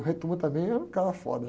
O também é um cara.